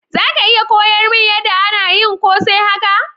Zaka iya koyar mun yada ana yin kose haka?